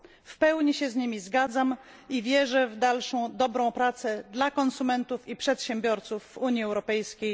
W pełni się z nimi zgadzam i wierzę w dalszą dobrą pracę na rzecz konsumentów i przedsiębiorców w Unii Europejskiej.